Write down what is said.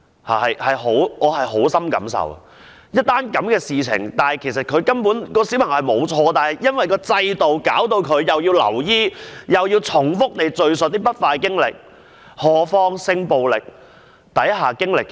我對此有很深感受，在這件事情上，小朋友根本沒有錯，但制度令致他要留醫及重複敘述不快經歷，更何況是性暴力之下的一些經歷。